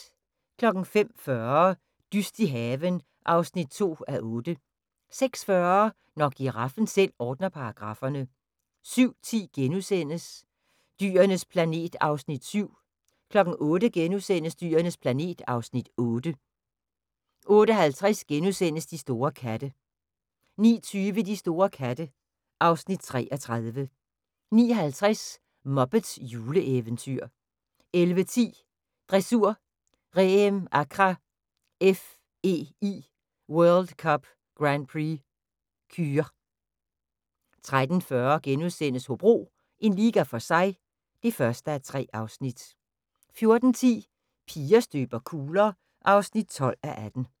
05:40: Dyst i haven (2:8) 06:40: Når giraffen selv ordner paragrafferne 07:10: Dyrenes planet (Afs. 7)* 08:00: Dyrenes planet (Afs. 8)* 08:50: De store katte * 09:20: De store katte (Afs. 33) 09:50: Muppets juleeventyr 11:10: Dressur: Reem Acra FEI World Cup Grand Prix Kür 13:40: Hobro – en liga for sig (1:3)* 14:10: Piger støber kugler (12:18)